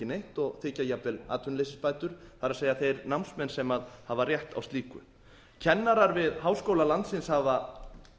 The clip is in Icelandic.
neitt og þiggja jafnvel atvinnuleysisbætur það er þeir námsmenn sem hafa rétt á slíku kennarar við háskóla landsins hafa